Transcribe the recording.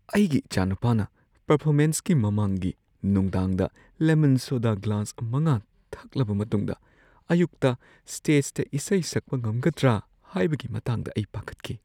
ꯑꯩꯒꯤ ꯏꯆꯥꯅꯨꯄꯥꯅ ꯄꯔꯐꯣꯃꯦꯟꯁꯀꯤ ꯃꯃꯥꯡꯒꯤ ꯅꯨꯡꯗꯥꯡꯗ ꯂꯦꯃꯟ ꯁꯣꯗꯥ ꯒ꯭ꯂꯥꯁ ꯵ ꯊꯛꯂꯕ ꯃꯇꯨꯡꯗ ꯑꯌꯨꯛꯇ ꯁ꯭ꯇꯦꯖꯇ ꯏꯁꯩ ꯁꯛꯄ ꯉꯝꯒꯗ꯭ꯔ ꯍꯥꯏꯕꯒꯤ ꯃꯇꯥꯡꯗ ꯑꯩ ꯄꯥꯈꯠꯈꯤ ꯫